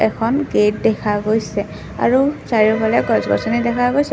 এখন গেট দেখা গৈছে আৰু চাৰিওফালে গছ-গছনি দেখা গৈছে।